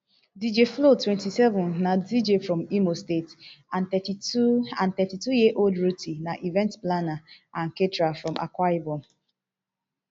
dj flo twenty-seven na dj from imo state and thirty-two and thirty-two year old ruthee na event planner and caterer from akwa ibom